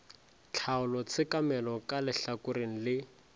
tlhaolo tshekamelo ka lehlakoreng le